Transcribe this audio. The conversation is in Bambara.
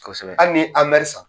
Kosɛbɛ. Hali ni ye san.